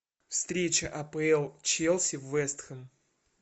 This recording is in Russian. встреча апл челси вест хэм